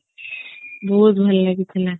ବହୁତ ଭଲ ଲାଗୁଥିଲା